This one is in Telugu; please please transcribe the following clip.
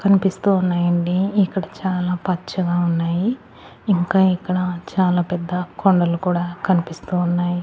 కనిపిస్తూ ఉన్నాయండి ఇక్కడ చాలా పచ్చగా ఉన్నాయి ఇంకా ఇక్కడ చాలా పెద్ద కొండలు కూడా కనిపిస్తూ ఉన్నాయి.